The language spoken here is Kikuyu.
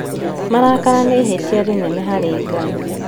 Marakara nĩ ihĩtia rĩnene harĩ Ngai